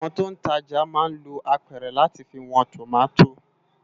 Awòn tó n tàjá má n ló ápèrè làtí fi wòn tómàtó